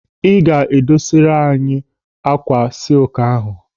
Ị ga-edosariri anyị ákwà sịluku ahụ.